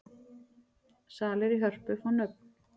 Salir í Hörpu fá nöfn